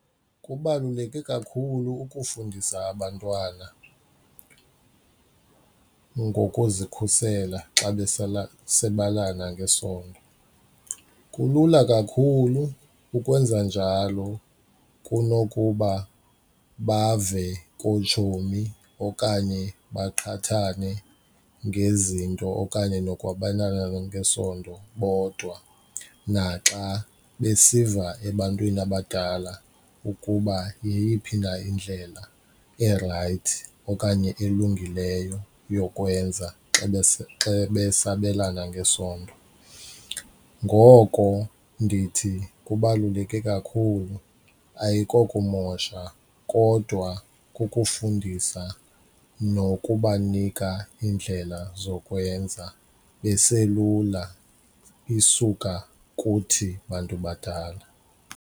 Kubaluleke kakhulu ukufundisa abantwana ngokuzikhusela xa besabelana ngesondo, kulula kakhulu ukwenza njalo kunokuba bave kootshomi okanye baqhathane ngezinto okanye nokwabelana ngesondo bodwa naxa besiva ebantwini abadala ukuba yeyiphi na indlela erayithi okanye elungileyo yokwenza xa besabelana ngesondo. Ngoko ndithi kubaluleke kakhulu, ayikokumosha kodwa kukufundisa nokubanika iindlela zokwenza beselula isuka kuthi bantu badala.